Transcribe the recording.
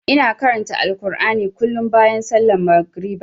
Ina karanta Alkur'ani kullum bayan sallar magariba.